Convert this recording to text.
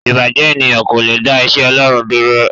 Ìbàjẹ́ ènìyàn kò le dá iṣẹ́ Ọlọ́run dúró.